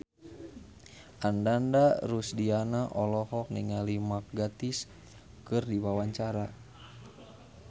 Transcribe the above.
Ananda Rusdiana olohok ningali Mark Gatiss keur diwawancara